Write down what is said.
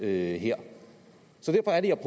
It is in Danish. her så derfor er det